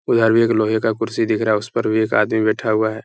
उधर भी एक लोहे का कुर्सी दिख रहा है उस पर भी एक आदमी बैठा हुआ है ।